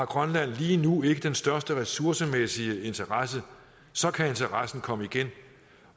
grønland lige nu ikke har den største ressourcemæssige interesse så kan interessen komme igen